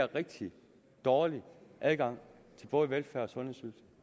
rigtig dårlig adgang til både velfærds og